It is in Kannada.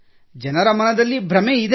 ಜನರ ಮನದಲ್ಲಿ ಭ್ರಮೆಯಿದೆ